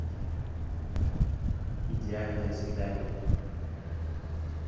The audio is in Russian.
идеальное свидание